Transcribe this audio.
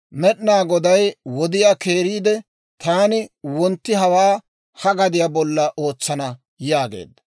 Med'inaa Goday wodiyaa keeriide, «Taani wontti hawaa ha gadiyaa bollan ootsana» yaageedda.